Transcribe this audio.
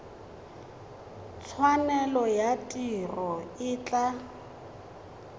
tshwanelo ya tiro e tla